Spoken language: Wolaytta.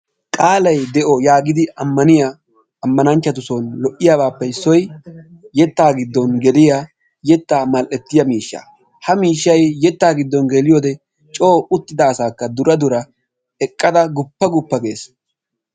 Qaalay de'o yaagidi ammaniya ammananchchatussi lo'iyabappe issoy yettaa giddon geliya yettaa mal"ettiya miishshaa ha miishshay yettaa giddon geliyo wode coo uttida asaakka dura dura eqqada quppa quppa gees.